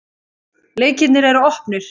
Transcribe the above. Leikirnir er opnir.